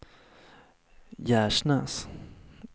Gärsnäs